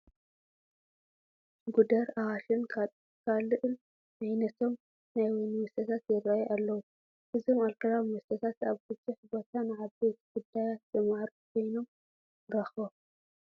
ጉደር፣ ኣዋሽን ካልእን ዓይነቶም ናይ ወይኒ መስተታት ይርአዩ ኣለዉ፡፡ እዞም ኣልኮላዊ መስተታት ኣብ ብዙሕ ቦታ ንዓበይቲ ጉዳያት ዘማዕርጉ ኮይኖም ኢና ንረኽቦም፡፡